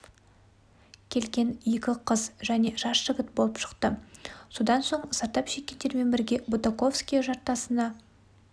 келген екі қыз және жас жігіт болып шықты содан соң зардап шеккендермен бірге бутаковское жартасына